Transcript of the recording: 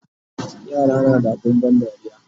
yara na da abun ban dariya